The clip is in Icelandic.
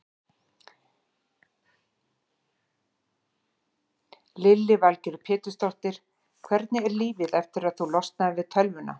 Lillý Valgerður Pétursdóttir: Hvernig er lífið eftir að þú losnaðir við tölvuna?